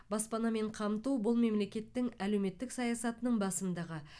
баспанамен қамту бұл мемлекеттің әлеуметтік саясатының басымдығы